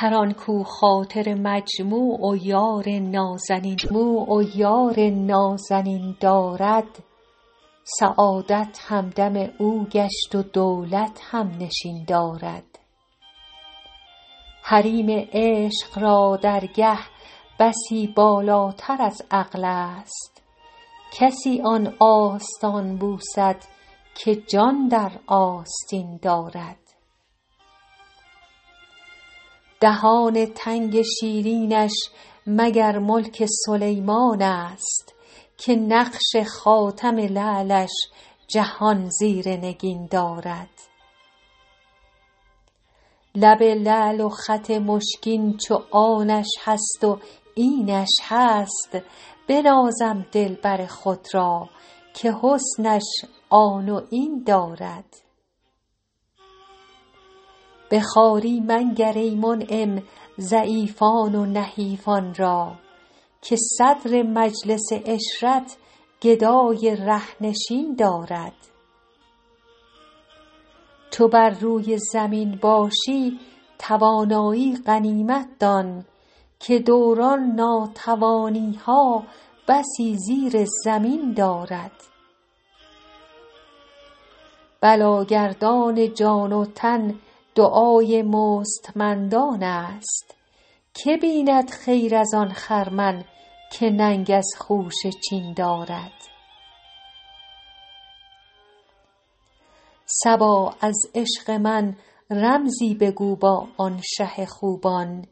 هر آن کاو خاطر مجموع و یار نازنین دارد سعادت همدم او گشت و دولت هم نشین دارد حریم عشق را درگه بسی بالاتر از عقل است کسی آن آستان بوسد که جان در آستین دارد دهان تنگ شیرینش مگر ملک سلیمان است که نقش خاتم لعلش جهان زیر نگین دارد لب لعل و خط مشکین چو آنش هست و اینش هست بنازم دلبر خود را که حسنش آن و این دارد به خواری منگر ای منعم ضعیفان و نحیفان را که صدر مجلس عشرت گدای ره نشین دارد چو بر روی زمین باشی توانایی غنیمت دان که دوران ناتوانی ها بسی زیر زمین دارد بلاگردان جان و تن دعای مستمندان است که بیند خیر از آن خرمن که ننگ از خوشه چین دارد صبا از عشق من رمزی بگو با آن شه خوبان